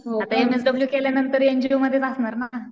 हो का? आता एमएसडब्ल्यू केल्यांनतर एनजीओमध्येच असणार ना.